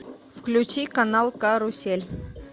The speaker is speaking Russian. включи канал карусель